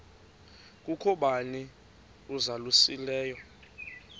kukho bani uzalusileyo